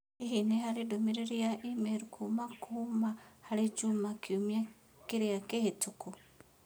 Hihi nĩ harĩ ndũmĩrĩri ya i-mīrū kuuma kũma harĩ Juma kiumia kĩrĩa kĩhĩtũku?